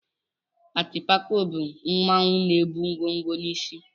Atịpako bụ mmanwụ na-ebu ngwo ngwo n'isí.